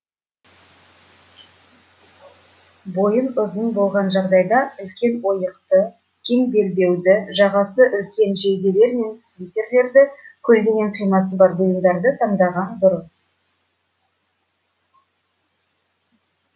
бойың ұзын болған жағдайда үлкен ойықты кең белбеуді жағасы үлкен жейделер мен свитерлерді көлденең қимасы бар бұйымдарды таңдаған дұрыс